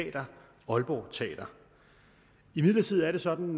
teater aalborg teater imidlertid er det sådan